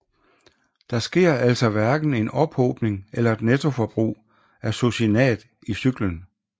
Der sker altså hverken en ophobning eller et nettoforbrug af succinat i cyklen